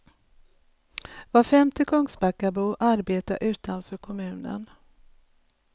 Var femte kungsbackabo arbetar utanför kommunen.